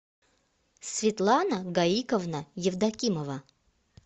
светлана гаиковна евдокимова